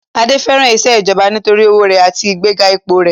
Adé fẹ́ràn isẹ́ ìjọba nítorí owó rẹ̀ àti ìgbéga ipò rẹ̀